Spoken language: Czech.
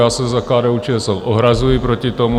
Já se za KDU-ČSL ohrazuji proti tomu.